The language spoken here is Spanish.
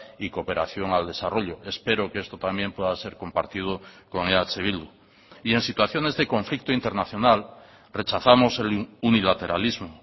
y cooperación al desarrollo espero que esto también pueda ser compartido con eh bildu y en situaciones de conflicto internacional rechazamos el unilateralismo